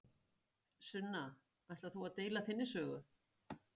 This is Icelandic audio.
Sunna: Ætlar þú að deila þinni sögu?